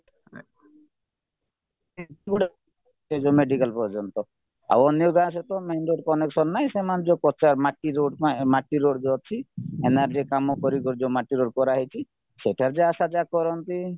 ଏ ଯୋଉ ମେଡିକାଲ ପର୍ଯ୍ୟନ୍ତ ଆଉ ଅନ୍ୟ ଗାଁ ସହିତ main road connection ନାହିଁ ସେମାନେ ଯୋଉ ମାଟି road ପାଇଁ ମାଟି road ଯୋଉ ଅଛି କାମ ପରି ଯୋଉ ମାଟି road କରାହେଇଛି ସେଇଟାକୁ ଯାହା ଆଶା ଯାହା କରନ୍ତି